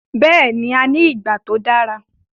Bẹ́ẹ̀ni, a ní ìgbà tó dára